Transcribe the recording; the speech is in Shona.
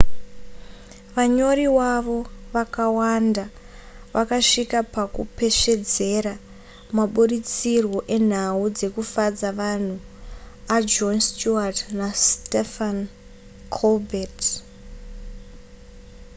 vanyori wavo vakawanda vakasvika pakupesvedzera maburitsirwo enhau dzekufadza vanhu ajon stewart nastephen colbert